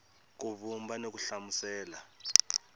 ku vumba ni ku hlamusela